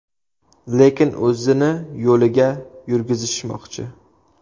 Lekin o‘zini yo‘liga yurgizishmoqchi.